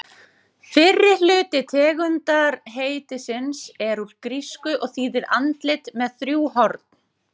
Fyrri hluti tegundarheitisins er úr grísku og þýðir andlit með þrjú horn.